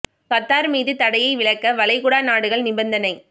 Qatar மீது தடையை விலக்க வளைகுடா நாடுகள் நிபந்தனை